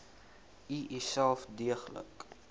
u uself deeglik